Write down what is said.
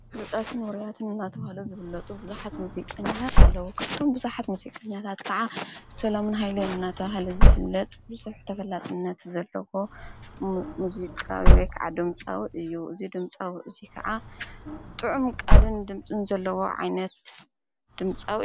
ፍሉጣትን ምሩያትን እናተ ሃለ ዘብለጡ ብዙኃት ሙዙይቀኛታት ኣለዉ። ካብቶም ብዙኃት ሙዙይ ቐኛታት ከዓ ሰሎምን ሃይለ እናታ ሃለ ዝፍለጥ ብሱሕ ተፈላጽነት ዘለዎ ሙዙቃክ ዓዶምፃዊ እዩ እዙይ ድምጻዊ እዙይ ከዓ ጥዑም ቃልን ድምፂን ዘለዎ ዓይነት ድምጻዊ።